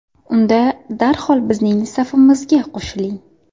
Unda darhol bizning safimizga qo‘shiling!